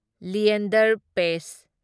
Leander paste